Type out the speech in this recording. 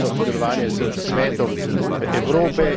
pomembno sodelovanje s Svetom Evrope.